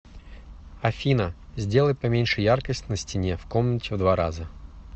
афина сделай поменьше яркость на стене в комнате в два раза